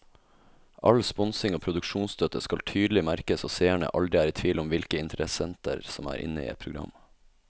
All sponsing og produksjonsstøtte skal tydelig merkes så seerne aldri er i tvil om hvilke interessenter som er inne i et program.